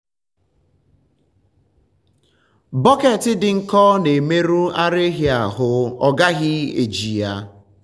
bọket dị nkọ na-emerụ ara ehi ahụ a gaghị eji ha.